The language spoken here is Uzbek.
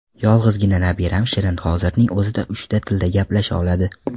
Yolg‘izgina nabiram Shirin hozirning o‘zida uchta tilda gaplasha oladi.